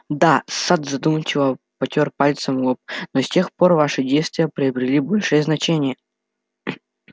да сатт задумчиво потёр пальцем лоб но с тех пор ваши действия приобрели большое значение